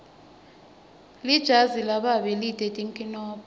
lijazi lababe lite tinkinombo